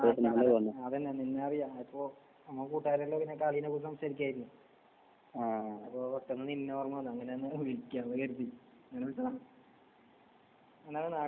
നാട്ടില് വന്നിരുന്നാൽ വന്നപ്പോ നമ്മളെ കൂട്ടുകാരൊക്കെ സംസാരിക്കായിരുന്നു ആഹ് അപ്പൊ പെട്ടെന്ന് നിന്നെ ഓർമ്മ വന്നു. പിന്നെ നിന്നെ അങ്ങട്ട് വിളിക്കാ ന്ന് കരുതി.